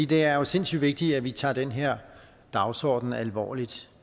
det er jo sindssyg vigtigt at vi tager den her dagsorden alvorligt